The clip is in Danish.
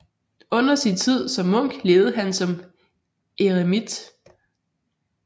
Under sin tid som munk levede han som eremit